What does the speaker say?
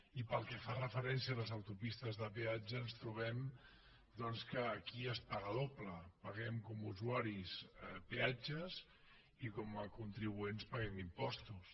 i pel que fa referència a les autopistes de peatge ens trobem que aquí es paga doble paguem com a usuaris peatges i com a contribuents paguem impostos